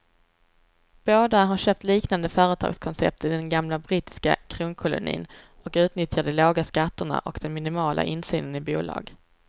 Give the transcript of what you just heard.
Båda har köpt liknande företagskoncept i den gamla brittiska kronkolonin och utnyttjar de låga skatterna och den minimala insynen i bolag.